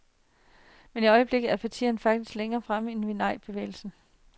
Men i øjeblikket er partierne faktisk længere fremme end nejbevægelserne.